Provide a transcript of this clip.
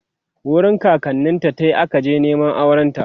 wurin kakanninta ta akaje Neman aurenta